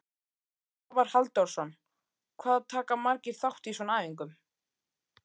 Svavar Halldórsson: Hvað taka margir þátt í svona æfingu?